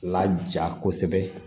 La ja kosɛbɛ